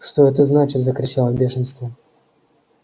что это значит закричал я в бешенстве